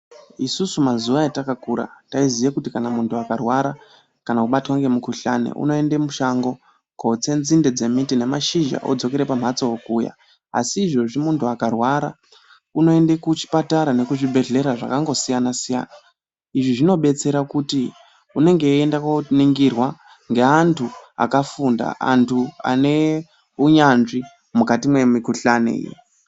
Isusu mazuwa etakakura taiziye kuti kana munthu akarwara kana kubatwa ngemukuhlani unoende mushango kootse nzinde dzemiti nemashizha odzokere pamhatso okuya, asi izvozvi munthu akarwara unoende kuchipatara nekuzvibhedlera zvakangosiyana -siyana, izvi zvinobetsera kuti unenge eienda kooningirwa ngeantu akafunda, anthu ane unyanzvi mukati memikuhlani iyi.